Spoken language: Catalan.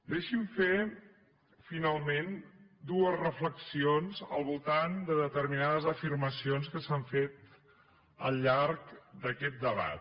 deixi’m fer finalment dues reflexions al voltant de de·terminades afirmacions que s’han fet al llarg d’aquest debat